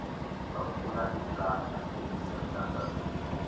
bavula iplanga elisemgangathweni